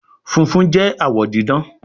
fúnfún jé awọ didán